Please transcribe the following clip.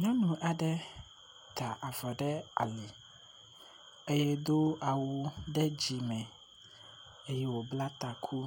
nyɔnu aɖe yi tavɔ ɖe ali eye do awu ɖe dzime eye wò bla taku